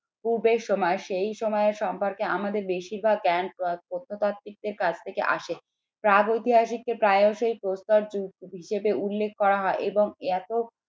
সময় সেই সময় সম্পর্কে আমাদের বেশিরভাগ জ্ঞান প্রত্নতাত্ত্বিকদের কাছ থেকে আসে প্রাগৈতিহাসিক কে প্রায়শই প্রস্তর যুগ হিসেবে উল্লেখ করা হয় এবং এত